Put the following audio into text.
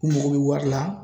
U mago bɛ wari la